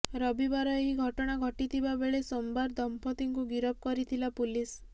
ରବିବାର ଏହି ଘଟଣା ଘଟିଥିବା ବେଳେ ସୋମବାର ଦମ୍ପତିଙ୍କୁ ଗିରଫ କରିଥିଲା ପୁଲିସ